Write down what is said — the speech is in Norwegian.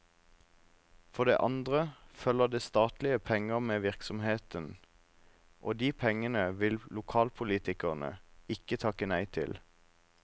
For det andre følger det statlige penger med virksomheten, og de pengene vil lokalpolitikerne ikke takke nei til.